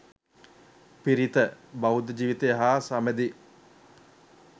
පිරිත; බෞද්ධ ජීවිතය හා සබැඳි